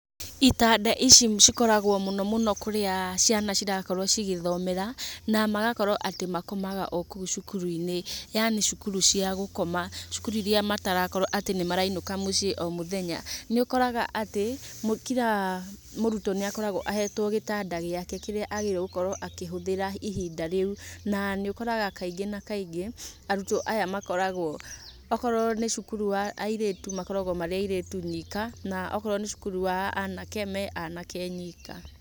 Itanda ici cikoragwo mũno mũno kũrĩa ciana cirakorwo cigĩthomera na atĩ magakorwo makomaga oro kũu cukuru-inĩ yaani cukuru cia gũkoma. Cukuru iria matarakorwo atĩ nĩmarainũka mũciĩ o mũthenya nĩũkoraga atĩ, kira mũrutwo nĩakoragwo ahetwo gĩtanda gĩake kĩrĩa agĩrĩirwo gũkorwo akĩhũthĩra ihinda rĩu, na nĩ ũkoraga kaingĩ na kaingĩ arutwo aya makoragwo akorwo nĩ cukuru wa airĩtu makoragwo marĩ airĩtu nyika, na okorwo nĩ cukuru wa anake me anake nyika.